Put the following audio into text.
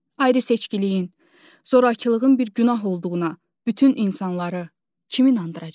Ayrı-seçkiliyin, zorakılığın bir günah olduğuna bütün insanları kim inandıracaq?